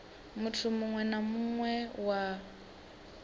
muthu muwe na muwe wa